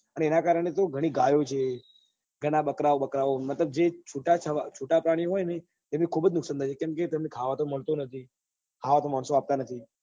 એના કારણે બઉ ગાયો છે ગણા બકરાઓ બકરાઓ મતલબ જે છુટા જે છુટા પ્રાણીઓ છે ને એમને ખુબ જ નુકસાન થાય છે કેમ કે એમને ખાવા તો મળતો નથી ખાવવા તો માણસો આપતા નથી